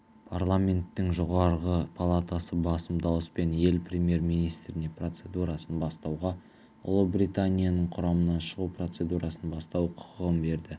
праламенттің жоғарғы палатасы басым дауыспен ел премьер-министріне процедурасын бастауға ұлыбританияның құрамынан шығу процедурасын бастау құқығын берді